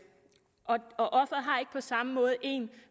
på samme måde en